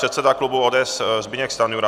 Předseda klubu ODS Zbyněk Stanjura.